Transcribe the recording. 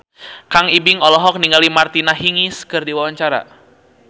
Kang Ibing olohok ningali Martina Hingis keur diwawancara